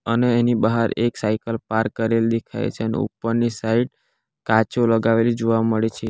અને એની બહાર એક સાયકલ પાર કરેલી દેખાય છે અને ઉપરની સાઈડ કાચો લગાવેલી જોવા મળે છે.